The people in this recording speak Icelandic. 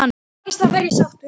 Takist það verð ég sáttur.